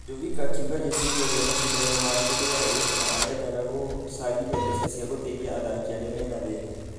Djovic akĩuga rĩciria rĩa mashidano make rĩarĩ .....na arendaga gũcangithia mbeca cia gũteithia athaki arĩa mĩna thĩna.